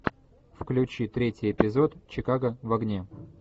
включи третий эпизод чикаго в огне